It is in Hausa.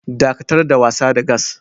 Dakatar da wasa da gas.